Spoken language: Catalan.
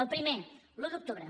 el primer l’un d’octubre